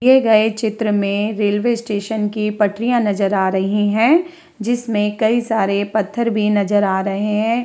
दिए गए चित्र में रेलवे स्टेशन की पटरियां नज़र आ रही हैं जिसमें कई सारे पत्थर भी नज़र आ रहे हैं।